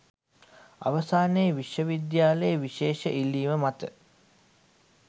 අවසානයේ විශ්ව විද්‍යාලයේ විශේෂ ඉල්ලීම මත